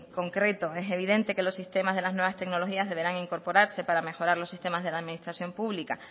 concreto es evidente que los sistemas de las nuevas tecnologías deberán incorporarse para mejorar los sistemas de la administración pública